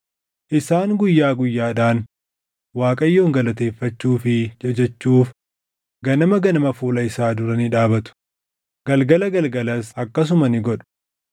Isaan guyyaa guyyaadhaan Waaqayyoon galateeffachuu fi jajachuuf ganama ganama fuula isaa dura ni dhaabatu; galgala galgalas akkasuma ni godhu;